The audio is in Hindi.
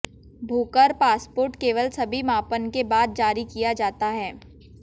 भूकर पासपोर्ट केवल सभी मापन के बाद जारी किया जाता है